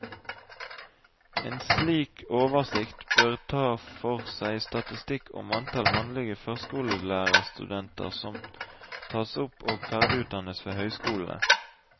En slik oversikt bør ta for seg statistikk om antall mannlige førskolelærerstudenter som tas opp og ferdigutdannes ved høyskolene.